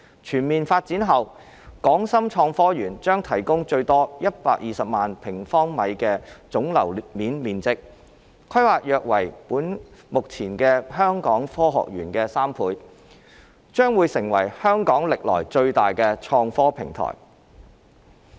全面發展後的港深創科園將提供最多120萬平方米的總樓面面積，規模約為目前香港科學園的3倍，將會成為香港歷來最大的創科平台。